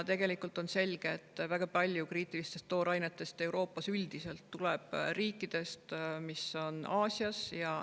Väga suur osa kriitilistest toorainetest tuleb Euroopasse riikidest, mis on Aasias.